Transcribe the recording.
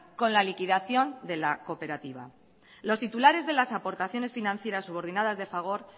con la liquidación de la cooperativa los titulares de las aportaciones financieras subordinadas de fagor